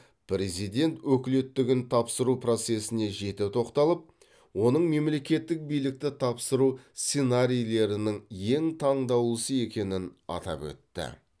президент өкілеттігін тапсыру процесіне жете тоқталып оның мемлекеттік билікті тапсыру сценарийлерінің ең таңдаулысы екенін атап өтті